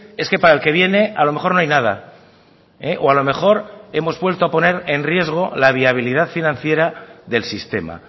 es que para el que viene a lo mejor no hay nada o a lo mejor hemos vuelto a poner en riesgo la viabilidad financiera del sistema